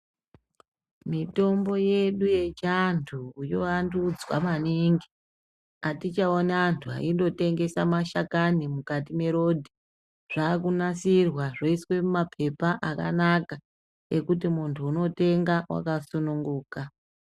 Mitombo yedu yechiantu yoandudzwa maningi, atichaonibantu aindotengesa mashakani mukati mwerodhi. Zvaakumasirwa, zvoiswa mumapepa akanaka, ekuti muntu unotenga wakasununguka.